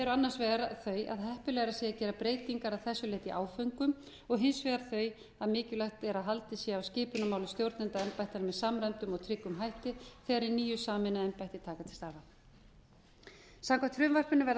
annars vegar þau að heppilegra sé að gera breytingar að þessu leyti í áföngum og hins vegar þau að mikilvægt að haldið sé á skipunarmálum stjórnenda embætta með samræmdum og tryggum hætti þegar hin nýju sameinuðu embætti taka til starfa samkvæmt frumvarpinu verða